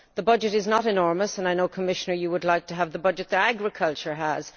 The budget is not enormous and I know, Commissioner, you would like to have the budget that agriculture has.